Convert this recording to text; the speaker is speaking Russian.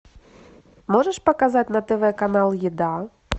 можешь показать на тв канал еда